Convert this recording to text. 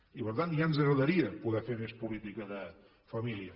i per tant ja ens agradaria poder fer més política de família